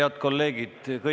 Head kolleegid!